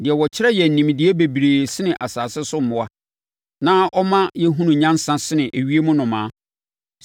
deɛ ɔkyerɛ yɛn nimdeɛ bebree sene asase so mmoa na ɔma yɛhunu nyansa sene ewiem nnomaa?’